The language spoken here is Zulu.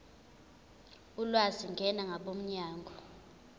ulwazi ngena kwabomnyango